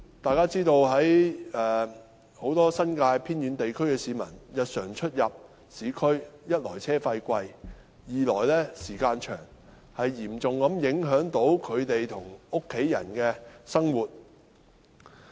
大家也知道，住在新界偏遠地區的市民日常出入市區，一來車資高昂，二來交通時間甚長，嚴重影響他們和家人的生活。